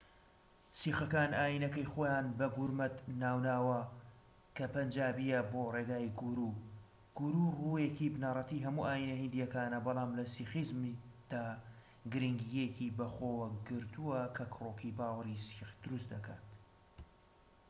سیخەکان ئایینەکەی خۆیان بە گورمەت ناو ناوە کە پەنجابییە بۆ ڕێگای گورو گورو ڕوویەکی بنەڕەتی هەموو ئایینە هیندییەکانە بەڵام لە سیخیزمدا گرینگییەکی بە خۆوە گرتووە کە کڕۆکی باوەڕی سیخ دروست دەکات